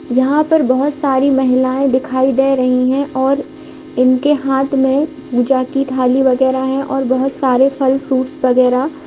यहाँ पर बोहोत सारी महिलाएँ दिखाई दे रही हैं और इनके हाथ में पूजा की थाली वगैरा है और बोहोत सारे फल फ्रूट्स वगैरा --